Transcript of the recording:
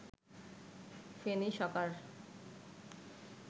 Feni সকার